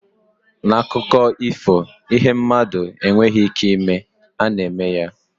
N'akụkọ ifo, ihe mmadụ na-enweghị ike ịme, a na-eme ya.